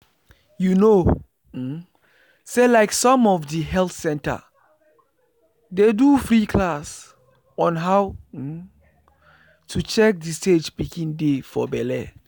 you know um say like some of the health center dey do free class on how um to check the stage pikin dey for belle.